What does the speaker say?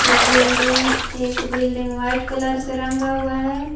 Building एक building white colour से रंगा हुआ है।